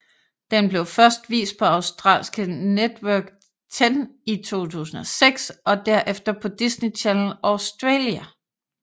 Den blev først vist på australske Network Ten i 2006 og derefter på Disney Channel Australia